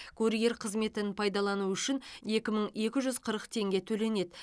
курьер қызметін пайдалану үшін екі мың екі жүз қырық тенге төленеді